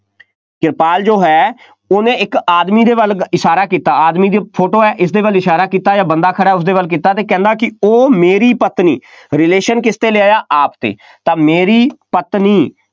ਕਿਰਪਾਲ ਜੋ ਹੈ, ਉਹਨੇ ਇੱਕ ਆਦਮੀ ਦੇ ਵੱਲ, ਇਸ਼ਾਰਾ ਕੀਤਾ, ਆਦਮੀ ਦੀ ਫੋਟੋ ਹੈ, ਇਸਦੇ ਵੱਲ ਇਸ਼ਾਰਾ ਕੀਤਾ ਜਾਂ ਬੰਦਾ ਖੜ੍ਹਾ ਉਸਦੇ ਵੱਲ ਕੀਤਾ ਅਤੇ ਕਹਿੰਦਾ ਕਿ ਉਹ ਮੇਰੀ ਪਤਨੀ relation ਕਿਸ 'ਤੇ ਲੈ ਆਇਆ ਆਪ 'ਤੇ, ਤਾਂ ਮੇਰੀ ਪਤਨੀ